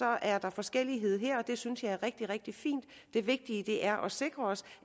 er der forskellighed her og det synes jeg er rigtig rigtig fint det vigtige er at sikre os